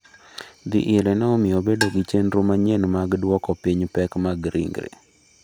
Dhi ire ne omiyo obedo gi chenro manyien mag duoko piny pek mar ringre.